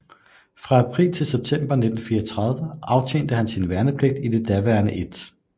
Fra april til september 1934 aftjente han sin værnepligt i det daværende 1